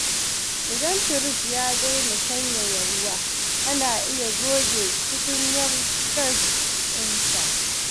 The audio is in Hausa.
Idan firji ya daina sanyaya ruwa, ana iya goge tukunyar gas ɗinsa.